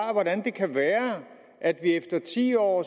hvordan det kan være at vi efter ti år